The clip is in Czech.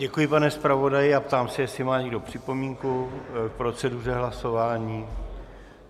Děkuji, pane zpravodaji, a ptám se jestli má někdo připomínku k proceduře hlasování.